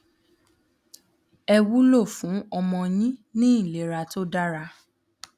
è wúlò fún ọmọ yín ní ìlera tó dára